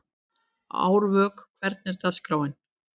Árvök, hvernig er dagskráin?